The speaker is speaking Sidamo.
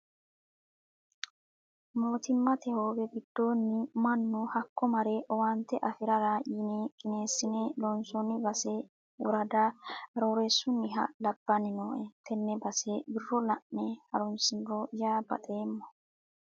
Mootimmate hoowe giddoniti mannu hakko mare owaante affirara yine qinesine loonsonni base worada Aroorreesunniha labbanni nooe tene base wiro la'ne haaronsiniro yaa baxeemmo.